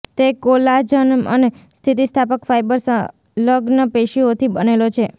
તે કોલાજન અને સ્થિતિસ્થાપક ફાઇબર સંલગ્ન પેશીઓથી બનેલો છે